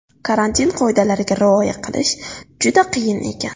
Karantin qoidalariga rioya qilish juda qiyin ekan.